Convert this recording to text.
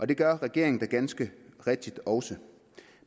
det gør regeringen da ganske rigtigt også